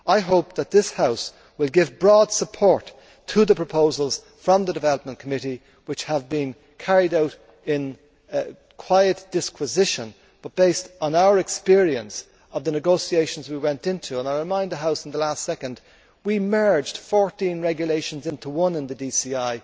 I hope that this House will give broad support to the proposals from the Committee on Development which have been carried out in quiet disquisition but based on our experience of the negotiations we went into and I remind the House that we merged 14 regulations into one in the DCI.